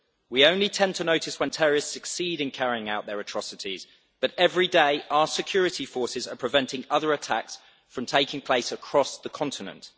We only tend to notice when terrorists succeed in carrying out their atrocities, but every day our security forces are preventing other attacks from taking place across the continent.